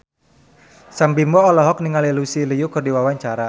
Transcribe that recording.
Sam Bimbo olohok ningali Lucy Liu keur diwawancara